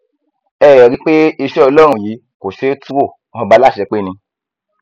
ẹ ẹ rí i pé iṣẹ ọlọrun yìí kò ṣeé tú wo ọba aláṣepé ni